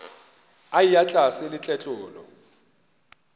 a eya tlase le tletlolo